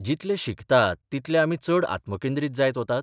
जितले शिकतात तितले आमी चड आत्मकेंद्रीत जायत वतात?